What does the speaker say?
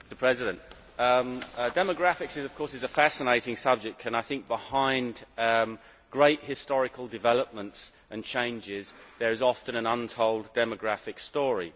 Mr President, demographics of course is a fascinating subject, and behind great historical developments and changes there is often an untold demographic story.